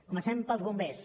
comencem pels bombers